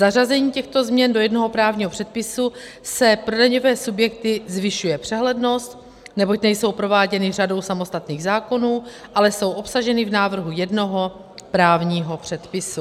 Zařazením těchto změn do jednoho právního předpisu se pro daňové subjekty zvyšuje přehlednost, neboť nejsou prováděny řadou samostatných zákonů, ale jsou obsaženy v návrhu jednoho právního předpisu.